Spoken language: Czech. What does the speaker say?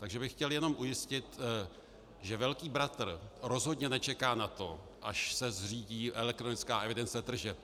Takže bych chtěl jenom ujistit, že velký bratr rozhodně nečeká na to, až se zřídí elektronická evidence tržeb.